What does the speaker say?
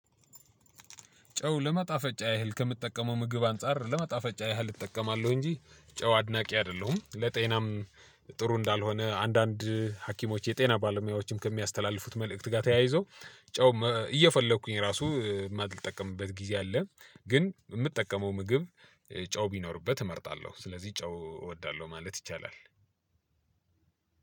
ጨው ለማጣፈጫ ያህል ከምትጠቀመው ምግብ አንፃር ለማጣፈጫ ያህል እጠቀማለሁ እንጂ ጨው አድናቂ አይደለሁም ለጤናም ጥሩ እንዳልሆነ አንዳንድ ሀኪሞች የጤና ባለሙያዎችም ከሚያስተላልፉት መልእክት ጋር ተያይዞ። ጨው እየፈለኩኝ ራሱ ማልጠቀምበት ጊዜ አለ። ግን የምጠቀመው ምግብ ጨው ቢኖርበት እመርጣለሁ። ስለዚህ ጨው እወዳለሁ ማለት ይቻላል።